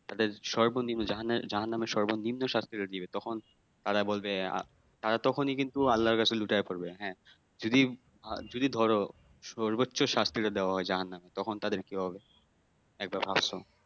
তাদের সর্বনিম্ন জাহান্নামের জাহান্নামের সর্বনিম্ন শাস্তি দিবে তখন তারা বলবে তারা তখনই কিন্তু আল্লাহ এর কাছে লুটায়ে পরবে হ্যাঁ যদি যদি ধরো সর্বোচ্চ শাস্তিটা দেওয়া হয় জাহান্নামে তখন তাদের কি হবে একবার ভাবছো?